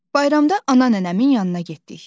Bayramda ana nənəmin yanına getdik.